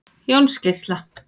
Jónsgeisla